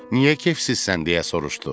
Niyə kefsizsən deyə soruşdu.